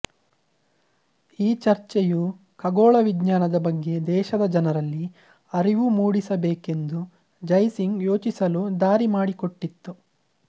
ಈ ಚರ್ಚೆಯು ಖಗೋಳ ವಿಜ್ಞಾನದ ಬಗ್ಗೆ ದೇಶದ ಜನರಲ್ಲಿ ಅರಿವು ಮೂಡಿಸಬೇಕೆಂದು ಜೈ ಸಿಂಗ್ ಯೋಚಿಸಲು ದಾರಿ ಮಾಡಿಕೊಟ್ಟಿತು